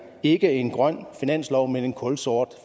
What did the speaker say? ikke er en grøn finanslov men en kulsort